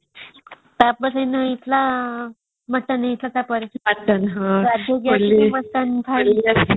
ତାପରେ ହେଇଥିଲା ମଟନ ହେଇଥିଲା ତାପରେ ମଟନ ହଁ